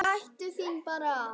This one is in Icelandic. Gættu þín bara!